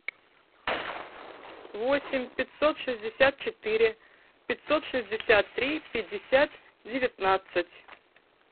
восемь пятьсот шестьдесят четыре пятьсот шестьдесят три пятьдесят девятнадцать